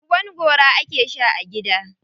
Ruwan gora ake sha a gida.